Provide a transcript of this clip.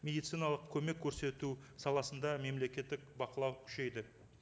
медициналық көмек көрсету саласында мемлекеттік бақылау күшейді